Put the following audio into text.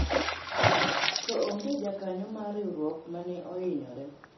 to onge jakanyo mar riwruok mane ohinyore